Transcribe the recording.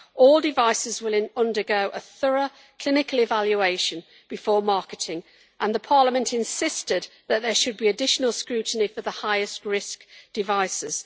All devices will undergo a thorough clinical evaluation before marketing, and Parliament insisted that there should be additional scrutiny for the highest-risk devices.